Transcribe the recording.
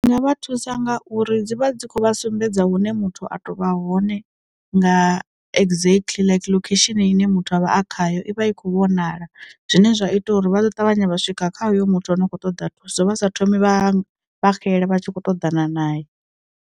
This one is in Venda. Nga vha thusa nga uri dzi vha dzi khou vha sumbedza hune muthu a to vha hone nga exactly like lokhesheni ine muthu a vha a khayo i vha i khou vhonala zwine zwa ita uri vha ḓo ṱavhanya vha swika kha hoyo muthu ane a khou ṱoḓa thuso vhasa thomi vha vha xela vha tshi khou ṱoḓana naye.